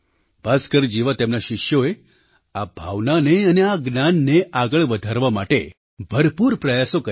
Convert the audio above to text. ભાસ્કર જેવા તેમના શિષ્યોએ આ ભાવનાને અને આ જ્ઞાનને આગળ વધારવા માટે ભરપૂર પ્રયાસો કર્યા